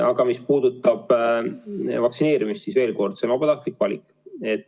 Aga mis puudutab vaktsineerimist, siis veel kord: see on vabatahtlik valik.